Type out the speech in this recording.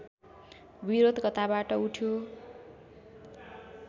विरोध कताबाट उठ्यो